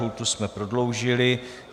Lhůtu jsme prodloužili.